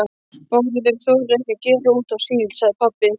Bárður þorir ekki að gera út á síld, sagði pabbi.